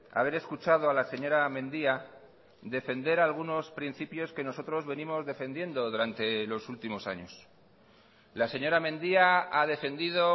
haber escuchado a la señora mendia defender algunos principios que nosotros venimos defendiendo durante los últimos años la señora mendia ha defendido